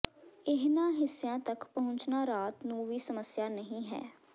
ਇਹਨਾਂ ਹਿੱਸਿਆਂ ਤਕ ਪਹੁੰਚਣਾ ਰਾਤ ਨੂੰ ਵੀ ਸਮੱਸਿਆ ਨਹੀਂ ਹੈ